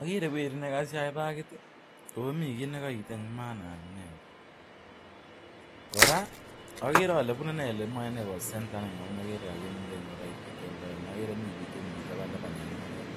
Agere werit ne kago sie pagit oh mi kit ne kagoite ne manae ole ne. Bune centre ole mi pik taban taban en oret.